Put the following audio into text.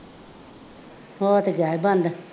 ਹੋ ਤੇ ਗਿਆਂ ਹੈ ਬੰਦ